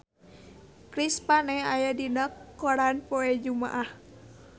Chris Pane aya dina koran poe Jumaah